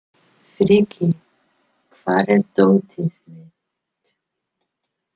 Frikki, hvar er dótið mitt?